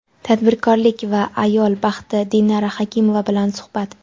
tadbirkorlik va ayol baxti — Dinara Hakimova bilan suhbat.